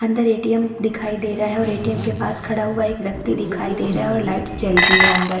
अंदर A. T. M दिखाई दे रहा है और ए. टी. एम के पास खड़ा हुआ एक व्यक्ति दिखाई दे रहा है और एक लाइट जल रही है अंदर --